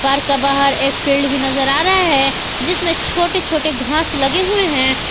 Park का बाहर एक फील्ड भी नजर आ रहा है जिसमें छोटे छोटे घास लगे हुए हैं।